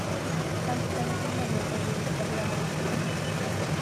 константин анатольевич богдановский